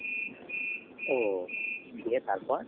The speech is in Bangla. ও গিয়ে তারপর?